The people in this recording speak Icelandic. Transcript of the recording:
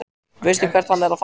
Veistu hvert hann er að fara?